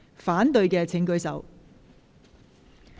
反對的請舉手。